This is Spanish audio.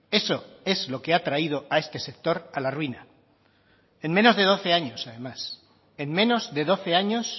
eso es lo que ha traído a este sector a la ruina en menos de doce años además en menos de doce años